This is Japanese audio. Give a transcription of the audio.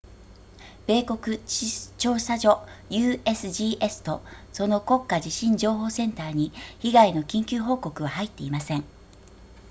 米国地質調査所 usgs とその国家地震情報センターに被害の緊急報告は入っていません